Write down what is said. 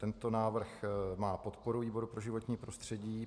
Tento návrh má podporu výboru pro životní prostředí.